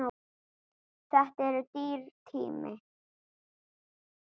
Þetta er dýr tími.